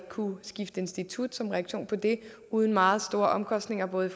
kunnet skifte institut som en reaktion på det uden meget store omkostninger både i